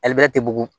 Ali bɛrɛ tɛ bugugu